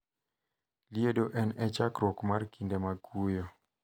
Liedo en e chakruok mar kinde mag kuyo.